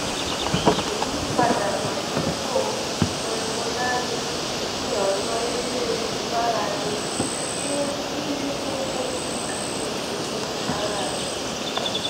ìmúpadàbọsípò cs]pulmonary ní ọnà eré ìmárale fún mímí gígùn àti ìṣègùn ara àyà